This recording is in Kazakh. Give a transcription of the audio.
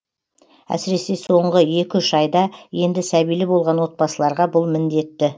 әсіресе соңғы екі үш айда енді сәбилі болған отбасыларға бұл міндетті